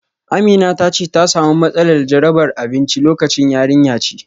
Amina ta ce ta samu matsalar jarabar abinci lokacin. yarinya ce